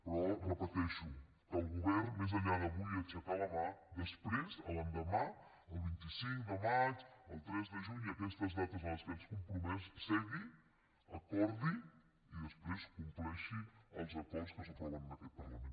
però ho repeteixo que el govern més enllà d’avui aixecar la mà que després l’endemà el vint cinc de maig el tres de juny i aquestes dates a les que ens hem compromès segui acordi i després compleixi els acords que s’aproven en aquest parlament